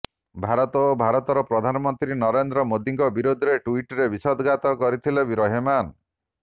ଭାରତ ଓ ଭାରତର ପ୍ରଧାନମନ୍ତ୍ରୀ ନରେନ୍ଦ୍ର ମୋଦୀଙ୍କ ବିରୋଧରେ ଟ୍ୱିଟରରେ ବିଷୋଦଗାର କରିଥିଲେ ରେହମାନ୍